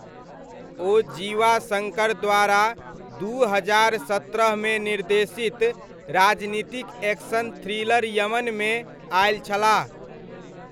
ओ जीवा शङ्कर द्वारा दू हजार सत्रहमे निर्देशित राजनीतिक एक्शन थ्रिलर यमनमे आयल छलाह।